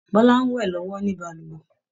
Bọla ń wẹ̀ lọ́wọ́ ní balùwẹ̀